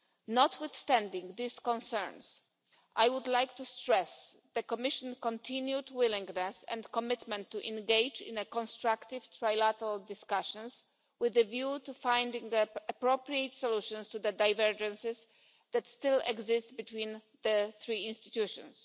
Notwithstanding these concerns, I would like to stress the Commission's continued willingness and commitment to engage in a constructive trilateral discussion, with a view to finding appropriate solutions to the divergences that still exist between the three institutions.